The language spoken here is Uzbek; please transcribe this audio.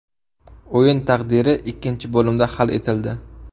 O‘yin taqdiri ikkinchi bo‘limda hal etildi.